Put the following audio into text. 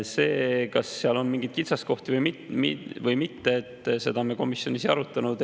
Seda, kas seal on mingeid kitsaskohti või mitte, me komisjonis ei arutanud.